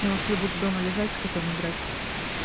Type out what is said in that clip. я лучше буду дома лежать с котом играть